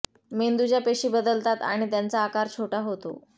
मेंदूच्या पेशी बदलतात आणि त्यांचा आकार छोटा होतो